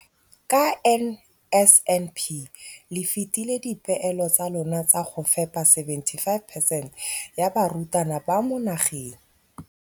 Ka NSNP le fetile dipeelo tsa lona tsa go fepa masome a supa le botlhano a diperesente ya barutwana ba mo nageng.